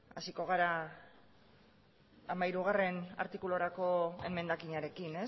hasiko gara hamairugarrena artikulurako emendakinarekin